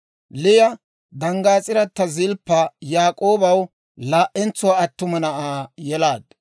Liya danggaas'irata Zilppa Yaak'oobaw laa"entsuwaa attuma na'aa yelaaddu.